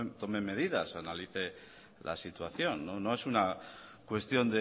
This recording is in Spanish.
tome medidas analice la situación no es una cuestión